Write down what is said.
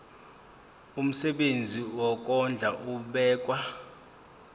umsebenzi wokondla ubekwa